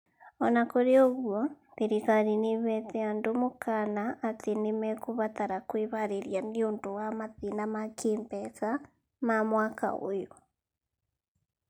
O na kũrĩ ũguo, thirikari nĩ ĩheete andũ mũkaana atĩ nĩ mekũbatara kwĩharĩria nĩ ũndũ wa mathĩna ma kĩĩmbeca ma mwaka ũyũ.